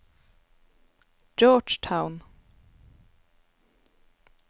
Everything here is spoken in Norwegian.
Georgetown